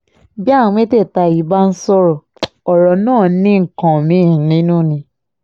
bí àwọn mẹ́tẹ̀ẹ̀ta yìí bá ń sọ̀rọ̀ ọ̀rọ̀ náà ní nǹkan mí-ín nínú ni